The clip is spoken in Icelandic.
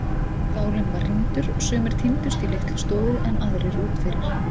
Skálinn var rýmdur, sumir tíndust í litlustofu en aðrir út fyrir.